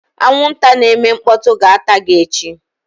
Anwụnta na-eme mkpọtụ ga-ata gị echi